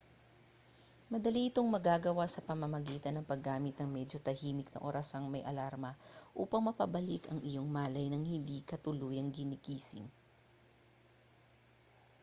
madali itong magagawa sa pamamagitan ng paggamit ng medyo tahimik na orasang may alarma upang mapabalik ang iyong malay nang hindi ka tuluyang ginigising